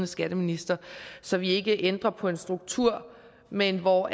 skatteminister så vi ikke ændrer på en struktur men hvor